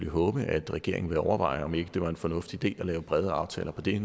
håbe at regeringen vil overveje om ikke det var en fornuftig idé at lave brede aftaler på det